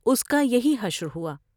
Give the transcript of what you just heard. اس کا یہی حشر ہوا ۔